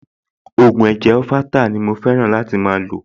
Ògùn ẹ̀jẹ̀ orheptal ni mo fẹ́ràn láti máa lò